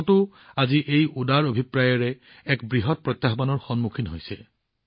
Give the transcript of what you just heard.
ভাৰততো আজি এই উদাৰ অভিপ্ৰায়েৰে এক বৃহৎ প্ৰত্যাহ্বানৰ সন্মুখীন হৈছে